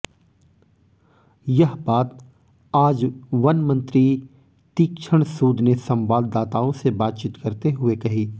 यह बात आज वन मंत्री तीक्षण सूद ने संवाददाताओं से बातचीत करते हुए कही